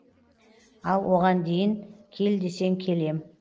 ал оған дейін кел десең келем